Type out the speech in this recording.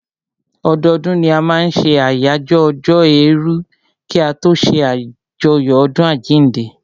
Ọdọdún ni a máa n ṣe àyájọ́ ọjọ́ èèrù kí a tó ṣé àjọyọ̀ ọdún àjínde